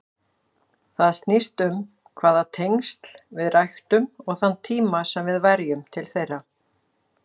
Það snýst um hvaða tengsl við ræktum og þann tíma sem við verjum til þeirra.